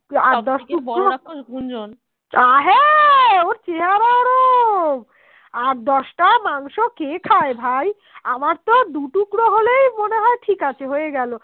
আমার তো দুটুকরো হলেই মনে হয় ঠিকাছে হয়ে গেল